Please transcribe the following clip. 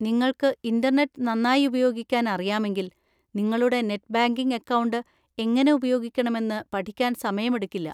നിങ്ങൾക്ക് ഇന്‍റർനെറ്റ് നന്നായി ഉപയോഗിക്കാൻ അറിയാമെങ്കിൽ, നിങ്ങളുടെ നെറ്റ് ബാങ്കിംഗ് അക്കൗണ്ട് എങ്ങനെ ഉപയോഗിക്കണമെന്ന് പഠിക്കാൻ സമയമെടുക്കില്ല.